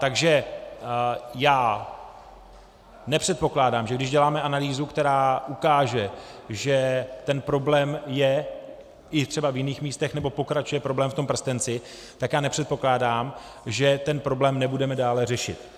Takže já nepředpokládám, že když děláme analýzu, která ukáže, že ten problém je i třeba v jiných místech, nebo pokračuje problém v tom prstenci, tak já nepředpokládám, že ten problém nebudeme dále řešit.